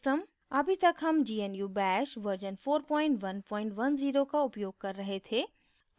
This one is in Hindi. अभी तक हम gnu bash version 4110 का उपयोग कर रहे थे